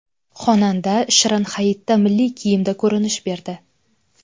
Xonanda Shirin Hayitda milliy kiyimda ko‘rinish berdi.